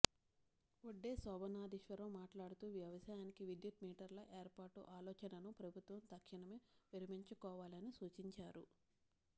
వడ్డే శోభనాద్రీశ్వరరావు మాట్లాడుతూ వ్యవసాయానికి విద్యుత్ మీటర్ల ఏర్పాటు ఆలోచనను ప్రభుత్వం తక్షణమే విరమించుకోవాలని సూచించారు